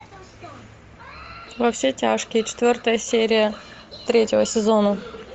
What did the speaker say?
во все тяжкие четвертая серия третьего сезона